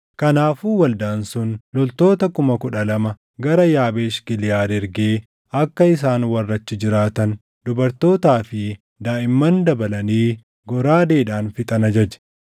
Kanaafuu waldaan sun loltoota kuma kudha lama gara Yaabeesh Giliʼaad ergee akka isaan warra achi jiraatan, dubartootaa fi daaʼimman dabalanii goraadeedhaan fixan ajaje.